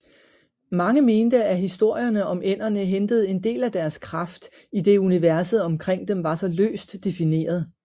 Mange mente at historierne om ænderne hentede en del af deres kraft idet universet omkring dem var så løst defineret